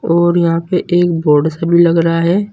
और यहां पे एक बोर्ड सा भी लग रहा है।